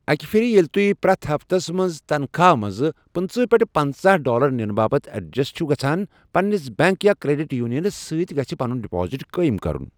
اکہِ پھر ییٚلہِ تُہۍ پرٛٮ۪تھ ہفتس منٛز تنخواہ منٛز پٕنٛژٕہہ پٮ۪ٹھ پنژاہ ڈالر نِنہٕ باپَتھ ایڈجسٹ چھوٕ گژھان، پنٛنِس بٮ۪نٛک یا کرٛیٚڈِٹ یونینس ستۍ گژھِ پنُن ڈپازٹ قٲیم کرُن۔